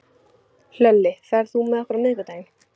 Hlölli, ferð þú með okkur á miðvikudaginn?